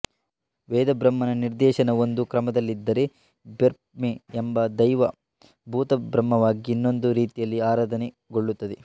ವೇದಬ್ರಹ್ಮನ ನಿರ್ದೇಶನ ಒಂದು ಕ್ರಮದಲ್ಲಿದ್ದರೆ ಬೆರ್ಮೆ ಎಂಬ ದೈವ ಭೂತಬ್ರಹ್ಮವಾಗಿ ಇನ್ನೊಂದು ರೀತಿಯಲ್ಲಿ ಆರಾಧನೆಗೊಳ್ಳುತ್ತದೆ